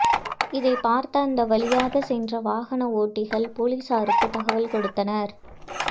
இதைபார்த்த அந்த வழியாக சென்ற வாகன ஓட்டிகள் போலீசாருக்கு தகவல் கொடுத்தனர்